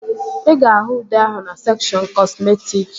Ị ga-ahụ ude ahụ na sekshọn kọsmetịk